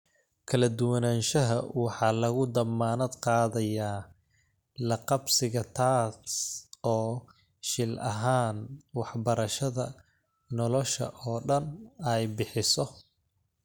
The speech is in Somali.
Kala duwanaanshiyaha waxaa lagu dammaanad qaadayaa la qabsiga taas oo, shil ahaan, waxbarashada nolosha oo dhan ay bixiso.